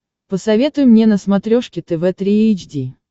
посоветуй мне на смотрешке тв три эйч ди